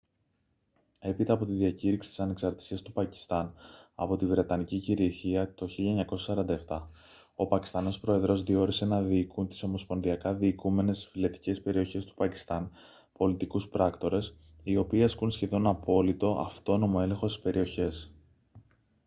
έπειτα από τη διακήρυξη της ανεξαρτησίας του πακιστάν από τη βρετανική κυριαρχία το 1947 ο πακιστανός πρόεδρος διόρισε να διοικούν τις ομοσπονδιακά διοικούμενες φυλετικές περιοχές του πακιστάν «πολιτικούς πράκτορες» οι οποίοι ασκούν σχεδόν απόλυτο αυτόνομο έλεγχο στις περιοχές